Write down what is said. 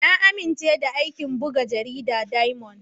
Na amince da aikin buga jaridar Diamond.